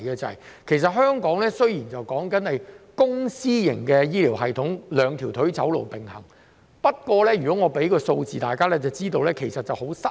雖說香港是公私營醫療系統並行，以"兩條腿走路"，但只要大家看看數字，就會知道已經很失衡。